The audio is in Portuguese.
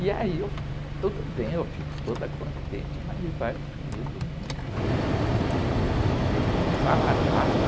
E aí, eu, tudo bem, eu fico toda contente, mas ele vai o primeiro domingo, segundo domingo, terceiro, e não fala nada.